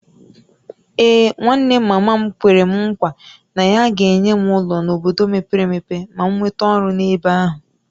Ee, nwanne mama m kwere nkwa na ya ga-enye m ụlọ n’obodo mepere emepe ma m nweta ọrụ n’ebe ahụ